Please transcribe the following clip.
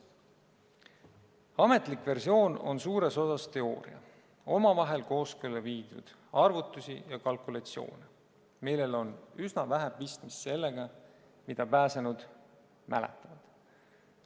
Ametlik versioon on suures osas teooria omavahel kooskõlla viidud arvutustest ja kalkulatsioonidest, millel on üsna vähe pistmist sellega, mida pääsenud mäletavad.